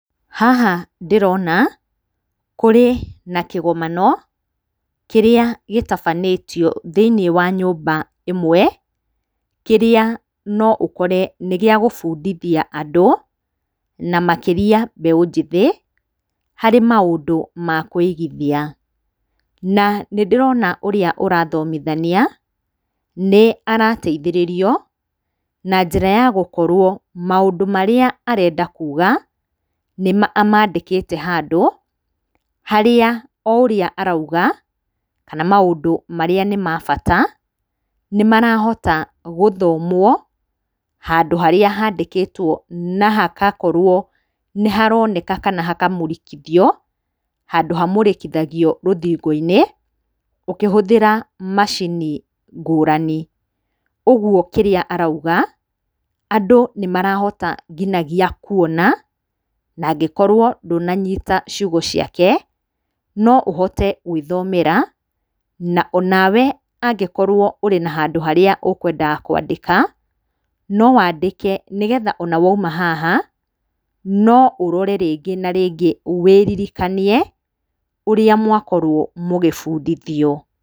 Haha ndĩrona kũrĩ na kĩgomano, kĩrĩa gĩtabanĩtio thĩiniĩ wa nyũmba ĩmwe, kĩrĩa no ũkore nĩ gĩa gũbundithia andũ na makĩria mbeũ njĩthĩ harĩ maũndũ ma kwĩigithia. Na nĩ ndĩrona ũrĩa ũrathomithania nĩ arateithĩrĩrio na njĩra ya gũkorwo maũndũ marĩa arenda kuuga, amandĩkĩte handũ, harĩa o ũrĩa arauga kana maũndũ marĩa nĩ mabata nĩ marahota gũthomwo handũ harĩa handĩkĩtwo na hakakorwo nĩharoneka kana hakamũrĩkithio, handũ hamũrĩkithagio rũthingo-inĩ ũkĩhũthĩra macini ngũrani. Ũgwo kĩrĩa arauga, andũ nĩmarahota nginagia kuona, nangĩkorwo ndũnanyita ciugo ciake noũhote gwĩthomera na o nawe angĩkorwo ũrĩ na handũ harĩa ũkwendaga kwandĩka no wandĩke, nĩgetha ona wauma haha no ũrore rĩngĩ na rĩngĩ wĩririkanie, ũrĩa mwakorwo mũgĩbundithio.